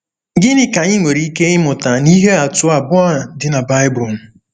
Gịnị ka anyị nwere ike ịmụta n’ihe atụ abụọ a dị na Baịbụl?